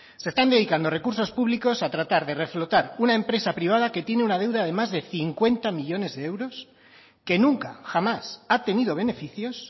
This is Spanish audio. se están dedicando recursos públicos a tratar de reflotar una empresa privada que tiene una deuda de más de cincuenta millónes de euros que nunca jamás ha tenido beneficios